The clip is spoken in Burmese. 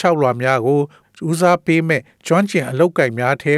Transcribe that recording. ျှောက်လွှာများကို ဦး စားပေးမည့် ကျွမ်းကျင်သောအလုပ်အကိုင်များထဲ